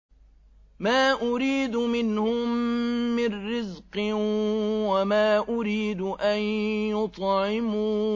مَا أُرِيدُ مِنْهُم مِّن رِّزْقٍ وَمَا أُرِيدُ أَن يُطْعِمُونِ